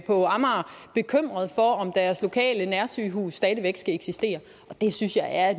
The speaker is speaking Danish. på amager bekymrede for om deres lokale nærsygehus stadig væk skal eksistere det synes jeg er